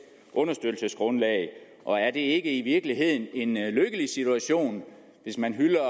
understøttelsesgrundlag og er det ikke i virkeligheden en lykkelig situation hvis man hylder